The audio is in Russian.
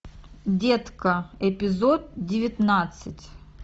детка эпизод девятнадцать